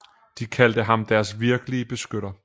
De kaldte ham deres virkelige beskytter